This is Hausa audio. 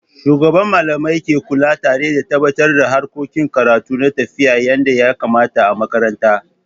Shugaban Mallamai ke kula tare da tabatar da harkokin karatu na tafiya yadda ya kamata a makaranta.